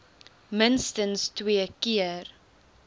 minstens twee keer